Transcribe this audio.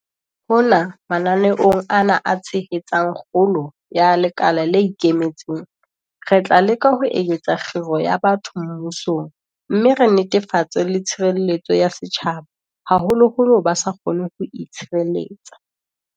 Hona mananeong ana a tshehetsang kgolo ya lekala le ikemetseng, re tla leka ho eketsa kgiro ya batho mmusong mme re netefatse le tshireletso ya setjhaba, haholoholo ba sa kgoneng ho itshireletsa.